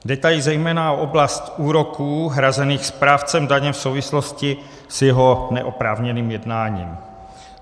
Jde tady zejména o oblast úroků hrazených správcem daně v souvislosti s jeho neoprávněným jednáním.